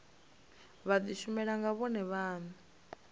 vha dishumele nga vhone vhane